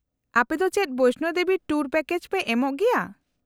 -ᱟᱯᱮᱫᱚ ᱪᱮᱫ Vaishno Devi tour package ᱯᱮ ᱮᱢᱚᱜ ᱜᱮᱭᱟ ?